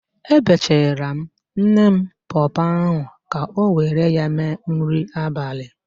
Ebechara m nne m pọọpọọ ahụ ka ọ were ya mee nri abalị.